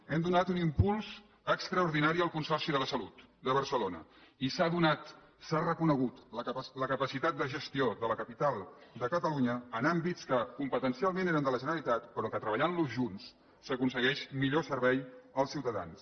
hem donat un impuls extraordinari al consorci de la salut de barcelona i s’ha reconegut la capacitat de gestió de la capital de catalunya en àmbits que competencialment eren de la generalitat però que treballant los junts s’aconsegueix millor servei als ciutadans